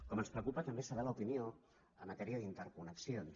com ens preocupa també saber l’opinió en matèria d’interconnexions